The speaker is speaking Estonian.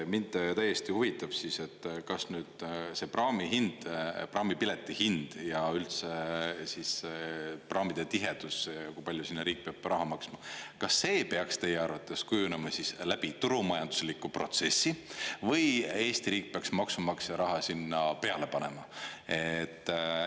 Mind tõesti huvitab, et kas nüüd see praamihind, praamipileti hind ja üldse praamide tihedus, ja kui palju sinna riik peab raha maksma – kas see peaks teie arvates kujunema läbi turumajandusliku protsessi või Eesti riik peaks maksumaksja raha sinna peale panema?